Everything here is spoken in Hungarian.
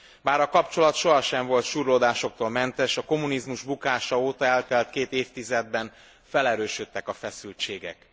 Bár a kapcsolat soha nem volt súrlódásoktól mentes, a kommunizmus bukása óta eltelt két évtizedben felerősödtek a feszültségek.